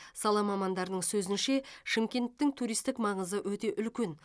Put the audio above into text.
сала мамандарының сөзінше шымкенттің туристік маңызы өте үлкен